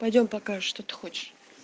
пойдём покажешь что ты хочешь